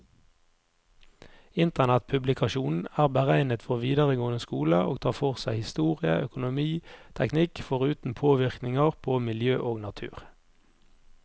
Internettpublikasjonen er beregnet for videregående skole, og tar for seg historie, økonomi, teknikk, foruten påvirkninger på miljø og natur.